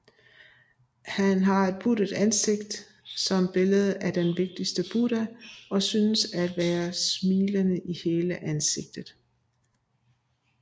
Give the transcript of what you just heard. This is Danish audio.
Han har et buttet ansigt som billedet af den vigtigste Buddha og synes at være smilende i hele hans ansigt